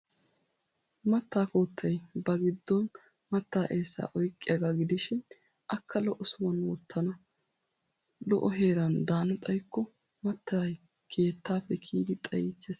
Maattaa koottay ba giddon maattaa eessaa oyqqiyaagaa gidishin akka lo''o sohuwan wottana. Lo''o heeran daana xaykko mattay keettaappe kiyidi xayiichchees.